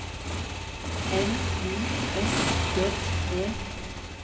N I S J E